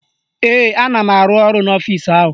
Ee, ana m arụ ọrụ n'ọfisi ahụ